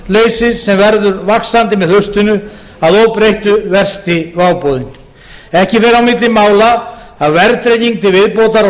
er atvinnuleysið sem verður vaxandi með haustinu að óbreyttu versti váboðinn ekki fer á milli mála að verðtrygging til viðbótar á